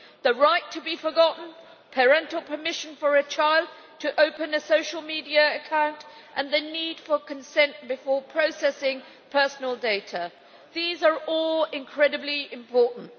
The right to be forgotten, parental permission for a child to open a social media account, and the need for consent before processing personal data these are all incredibly important.